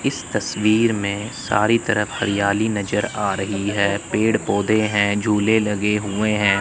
इस तस्वीर में सारी तरफ हरियाली नजर आ रही है पेड़ पौधे हैं झूले लगे हुए हैं।